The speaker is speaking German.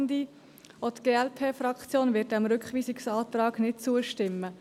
Auch die glp-Fraktion wird diesem Rückweisungsantrag nicht zustimmen.